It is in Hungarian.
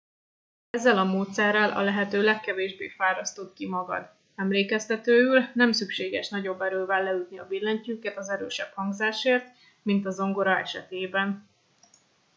ezzel a módszerrel a lehető legkevésbé fárasztod ki magad emlékeztetőül nem szükséges nagyobb erővel leütni a billentyűket az erősebb hangzásért mint a zongora esetében